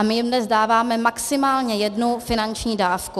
A my jim dnes dáváme maximálně jednu finanční dávku.